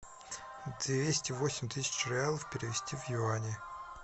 двести восемь тысяч реалов перевести в юани